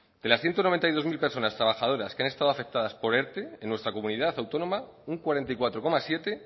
de las ciento noventa y dos mil personas trabajadoras que han estado afectadas por erte en nuestra comunidad autónoma un cuarenta y cuatro coma siete